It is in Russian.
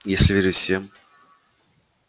если верить всем